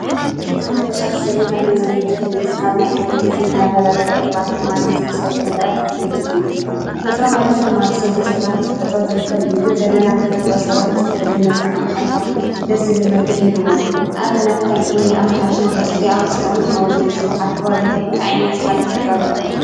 ታሪክ ማለት ኸዚ ዘለናዮ ዘመን ዝገልፅ ካብ ናይ ቀደም ግዜ ዝነብረ ፍቅሪ፣ ባህጊ መንነትን ዝተሰርሑ ነገራት ዝዝንቱን እዩ። ተፈጥሮ ማለት ድማ ብሰብ ዘይስራሕ ብተፈጥሮ ዝርከብ እዩ። ግን ዘለና ተፈጥሮ ሰባት ብዝተፈለየ መልክዕ ኣመሓይሾም ደስ ዝብል መልክዕ ይህብዎ። ንኣብነት ከም እምኒ ኣመሓይሾም ቅርፂ ኣውፂኣኦምን ሓወልቲ ምስራሕ ኣብ ኸባቢኹም እንታይ ዓይነት ሃፍቲ ተፈጥሮ ኣለኩም?